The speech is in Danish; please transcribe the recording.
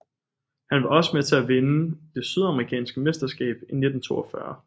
Han var også med til at vinde det sydamerikanske mesterskab i 1942